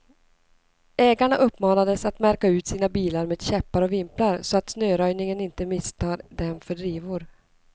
Ägarna uppmanades att märka ut sina bilar med käppar och vimplar, så att snöröjningen inte misstar dem för drivor.